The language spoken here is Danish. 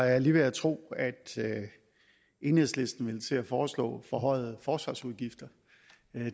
var jeg lige ved at tro at enhedslisten ville til at foreslå forhøjede forsvarsudgifter